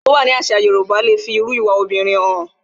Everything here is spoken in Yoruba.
Èwọ̀ tó wà nínú àṣà Yorùbá le fi irú ìwà obìnrin hàn